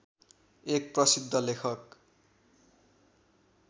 एक प्रसिद्ध लेखक